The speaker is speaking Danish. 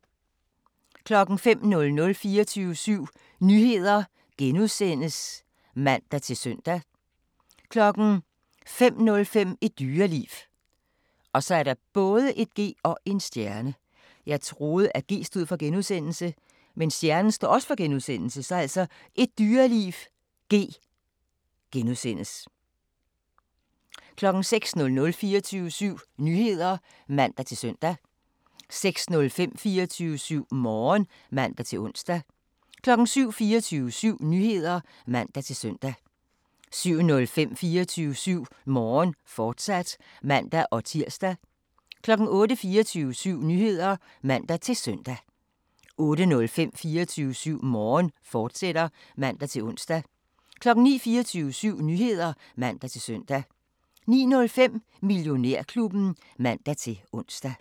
05:00: 24syv Nyheder *(man-søn) 05:05: Et Dyreliv (G) * 06:00: 24syv Nyheder (man-søn) 06:05: 24syv Morgen (man-ons) 07:00: 24syv Nyheder (man-søn) 07:05: 24syv Morgen, fortsat (man-tir) 08:00: 24syv Nyheder (man-søn) 08:05: 24syv Morgen, fortsat (man-ons) 09:00: 24syv Nyheder (man-søn) 09:05: Millionærklubben (man-ons)